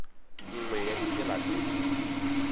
nngwe ya ditsela tse di